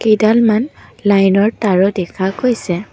কেইডালমান লাইনৰ তাঁৰো দেখা গৈছে।